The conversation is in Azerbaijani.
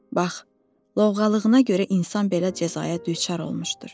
Bax, lovğalığına görə insan belə cəzaya düçar olmuşdur.